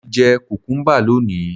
Mo ti jẹ kùkúḿbà lónìí